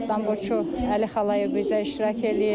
Tanboçu Əli Xalayev bizə iştirak eləyir.